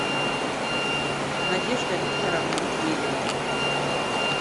надежда викторовна медведева